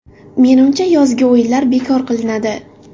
Menimcha, yozgi o‘yinlar bekor qilinadi.